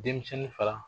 Denmisɛnnin fara